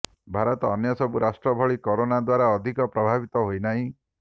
ଭାରତ ଅନ୍ୟ ସବୁ ରାଷ୍ଟ୍ର ଭଳି କରୋନା ଦ୍ୱାରା ଅଧିକ ପ୍ରଭାବିତ ହୋଇନାହିଁ